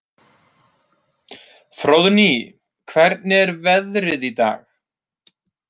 Fróðný, hvernig er veðrið í dag?